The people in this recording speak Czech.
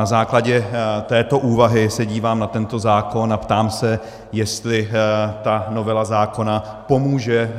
Na základě této úvahy se dívám na tento zákon a ptám se, jestli ta novela zákona pomůže